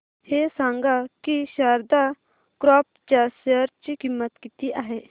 हे सांगा की शारदा क्रॉप च्या शेअर ची किंमत किती आहे